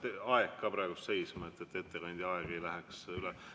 Ja pange aeg ka praegu seisma, et ettekandja ei läheks ajast üle.